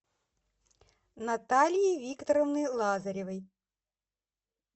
натальи викторовны лазаревой